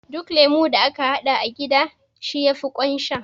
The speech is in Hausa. Duk lemo da aka haɗa a gida shi yafi ƙaun sha